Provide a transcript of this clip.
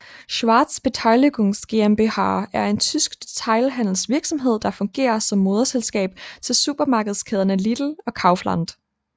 Schwarz Beteiligungs GmbH er en tysk detailhandelsvirksomhed der fungerer som moderselskab til supermarkedskæderne Lidl og Kaufland